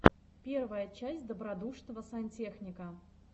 первая часть добродушного сантехника